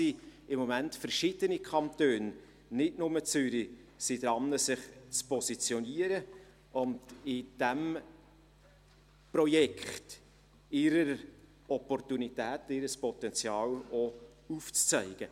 Hier sind im Moment verschiedene Kantone, nicht nur Zürich, daran, sich zu positionieren und in diesem Projekt ihre Opportunitäten, ihr Potenzial aufzuzeigen.